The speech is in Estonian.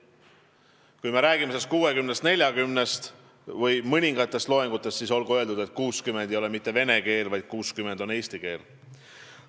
Kui me räägime suhtest 60 : 40 või mõningatest loengutest, siis olgu öeldud, et 60% ulatuses ei õpita mitte vene keeles, vaid eesti keeles.